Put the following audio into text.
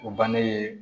O bannen